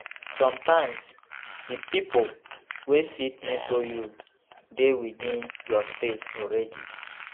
Sometimes di pipo wey fit mentor you dey within your space already